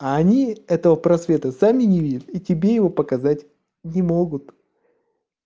а они этого просвета сами не видят и тебе его показать не могут